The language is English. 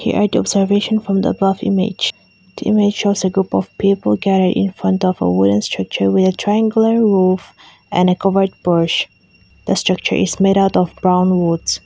here the observation from the above image the image shows a group of people gathered in front of a wooden structure with a triangular roof and a covered porch the structure is made out of palm roots.